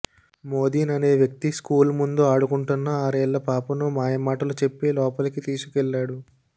మోదీన్ అనే వ్యక్తి స్కూల్ ముందు ఆడుకుంటున్న ఆరేళ్ల పాపను మాయమాటలు చెప్పి లోపలికి తీసుకెళ్లాడు